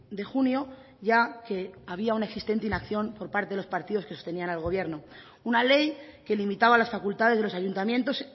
de junio ya que había una existente inacción por parte de los partidos que sostenían al gobierno una ley que limitaba las facultades de los ayuntamientos